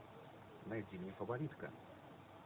найди мне фаворитка